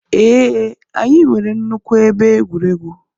Ee, anyị nwere nnukwu ebe egwuregwu.